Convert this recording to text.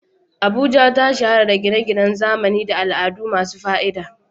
Abuja ta shahara da gine-ginen zamani da al'adu masu fa'ida.